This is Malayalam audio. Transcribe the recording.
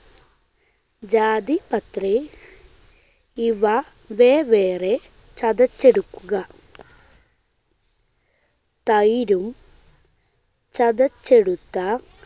ജാതിപത്രി ഇവ വെവ്വേറെ ചതച്ചെടുക്കുക. തൈരും ചതച്ചെടുത്ത